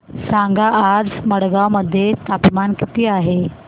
सांगा आज मडगाव मध्ये तापमान किती आहे